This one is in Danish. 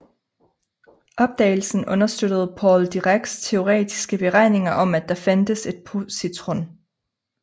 Opdagelsen understøttede Paul Diracs teoretiske beregninger om at der fandtes et positron